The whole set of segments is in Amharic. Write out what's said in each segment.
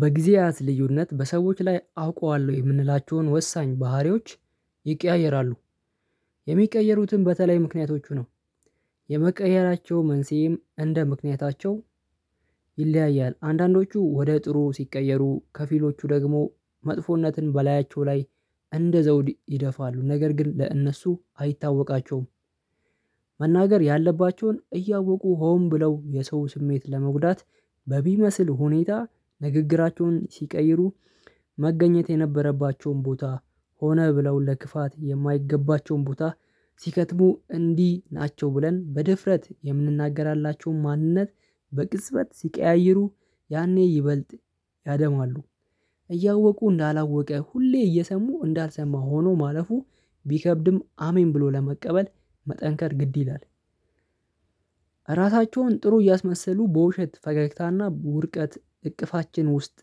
በጊዜያት ልዩነት በሰዎች ላይ አውቀዋለሁ የምንላቸውን ወሳኝ ባህሪዎች ይቀያየራሉ። የሚቀየሩትን በተለይ ምክንያቶቹ ነው የመቀየራቸው መንስኤም እንደ ምክንያታቸው ይለያያል። አንዳንዶቹ ወደ ጥሩ ሲቀየሩ ከፊሎቹ ደግሞ መጥፎነትን በላያቸው ላይ እንደ ዘውድ ይደፋሉ ነገር ግን ለእነሱ አይታወቃቸውም። መናገር ያለባቸውን እያወቁ ሆን ብለው የሰውን ስሜት ለመጉዳት በቢመስል ሁኔታ ንግግራቸውን ሲቀይሩ። መገኘት የነበረባቸውን ቦታ ሆነ ብለው ለክፋት የማይገባቸውን ቦታ ሲከትሙ እንዲህ ናቸው። ብለን በድፍረት የምንናገርላቸውን ማንነት በቅጽበት ሲቀያይሩ ያኔ ይበልጥ ያደማሉ። እያወቁ እንዳላወቀ ሁሌ እየሰሙ እንዳልሰማ ሆኖ ማለፉ ቢከብድም አሜን ብሎ ለመቀበል መጠንከር ግድ ይላል። ራሳቸውን ጥሩ እያስመሰሉ በውሸት ፈገግታና በውድቀት እቅፋችን ውስጥ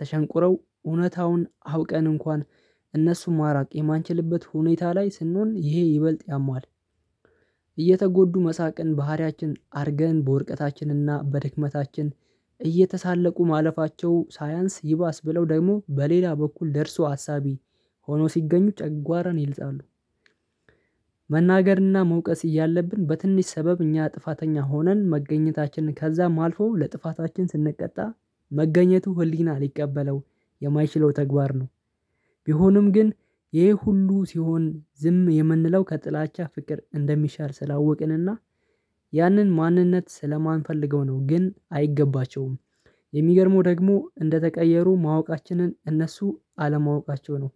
ተሸንቁረው እውነታውን አውቀን እንኳን እነሱ ማራቅ የማንችልበት ሁኔታ ላይ ስንሆን ይሄ ይበልጥ ያማል። እየተጎዱ መሳቅን ባህሪያችን አድርገን በዉድቀታችንና በድክመታችን እየተሳለቁ ማለፋቸው ሳይንስ ይባስ ብለው ደግሞ በሌላ በኩል ደርሶ አሳቢ ሆኖ ሲገኙ ጨጓራን ይልጣሉ። መናገርና መውቀስ እያለብን በትንሽ ሰበብ እኛ ጥፋተኛ ሆነን መገኘታችንን ከዛም አልፎ ለጥፋታችን ስንቀጣ መገኘቱ ህሊና ሊቀበለው የማይችለው ተግባር ነው። ቢሆንም ግን ይሄ ሁሉ ሲሆን ዝም የምንለው ከጥላቻ ፍቅር እንደሚሻል ስላወቅን እና ያንን ማንነት ስለማንፈልገው ነው ግን አይገባቸውም። የሚገርመው ደግሞ እንደተቀየሩ ማወቃችንን እነሱ አለማወቃቸው ነው።